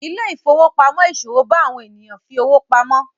Ile-ifowopamọ iṣowo bá àwọn ènìyàn fí ọwọ pàmò.